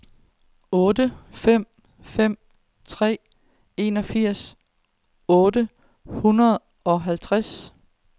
otte fem fem tre enogfirs otte hundrede og tooghalvtreds